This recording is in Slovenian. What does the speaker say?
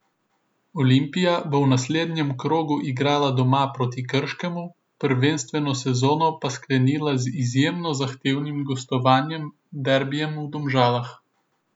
Olimpija bo v naslednjem krogu igrala doma proti Krškemu, prvenstveno sezono pa sklenila z izjemno zahtevnim gostovanjem, derbijem v Domžalah.